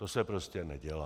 To se prostě nedělá.